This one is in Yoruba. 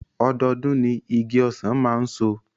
Ọdọọdún ni igi ọsàn máa ń so